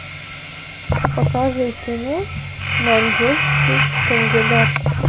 покажи кино маньчжурский кандидат